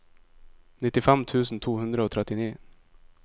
nittifem tusen to hundre og trettini